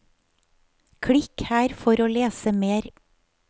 Klikk her for å lese mer.